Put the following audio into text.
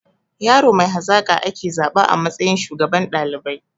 Yaro mai hazaƙa ake zaba a matsayin shugaban ɗalibai